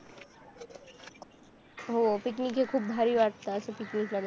हो पिकनिक हे खूप भारी वाटतात picnic ला